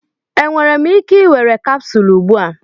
Enwere m ike ị were capsule ugbu a?